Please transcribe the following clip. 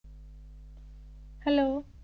Hello